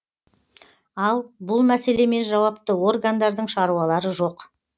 ал бұл мәселемен жауапты органдардың шаруалары жоқ